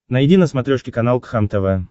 найди на смотрешке канал кхлм тв